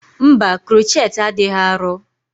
Mba, crochet adịghị arọ.